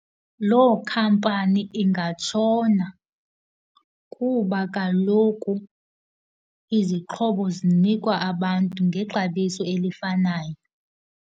Loo khampani ingatshona kuba kaloku izixhobo zinikwa abantu ngexabiso elifanayo.